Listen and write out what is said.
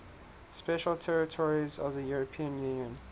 special territories of the european union